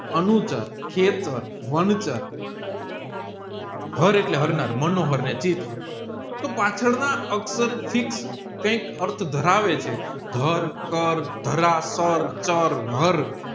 અણુધર કહેક્ટર વંચાર હાર એટલે હારનાર મનોહર તોહ પાછળના અક્ષર થી કૈક અર્થ ધરાવે છે ધર કર ધારા કાર્ટ ચાર હાર